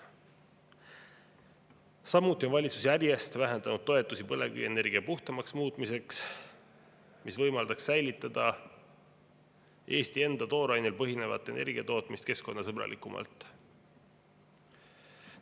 Samuti on valitsus järjest vähendanud toetusi põlevkivienergia puhtamaks muutmiseks, mis võimaldaks jätkata Eesti enda toorainel põhinevat energiatootmist keskkonnasõbralikumalt.